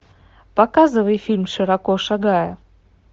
показывай фильм широко шагая